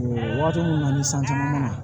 Waati min na ni sanji nana